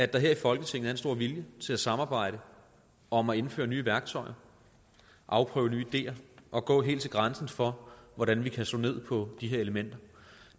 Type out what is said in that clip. der her i folketinget er en stor vilje til at samarbejde om at indføre nye værktøjer afprøve nye ideer og gå helt til grænsen for hvordan vi kan slå ned på de her elementer